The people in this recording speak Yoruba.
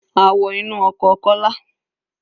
A wọ inú ọkọ̀ Kọ́lá.